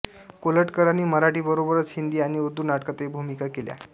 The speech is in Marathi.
कोल्हटकरांनी मराठीबरोबरच हिंदी आणि उर्दू नाटकांतही भूमिका केल्या